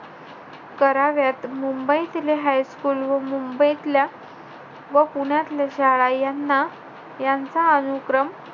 कराव्यात. मुंबईतले high school व मुंबईतल्या व पुण्यातल्या शाळा यांना यांचा अनुक्रम,